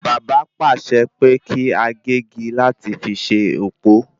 Bàbá pàṣẹ pé kí a gégi láti fi ṣe òpó